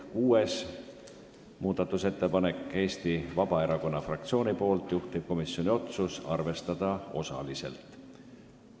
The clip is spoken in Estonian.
Kuues muudatusettepanek on Eesti Vabaerakonna fraktsioonilt, juhtivkomisjoni otsus on arvestada osaliselt.